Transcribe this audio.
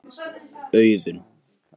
Auðun